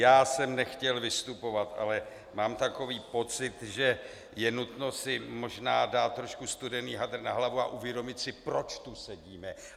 Já jsem nechtěl vystupovat, ale mám takový pocit, že je nutno si možná dát trošku studený hadr na hlavu a uvědomit si, proč tady sedíme.